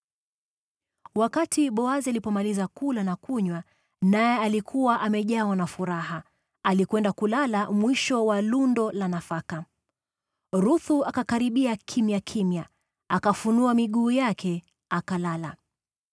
Wakati Boazi alipomaliza kula na kunywa, naye akawa amejawa na furaha, alikwenda kulala mwisho wa lundo la nafaka. Ruthu akanyemelea polepole, akafunua miguu yake, na akalala.